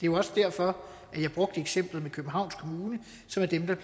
jo også derfor at jeg brugte eksemplet med københavns kommune som er dem der